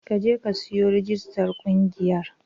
Ka je ka yi rijistar ƙungiyar